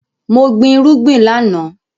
Mo gbin irúgbìn láàná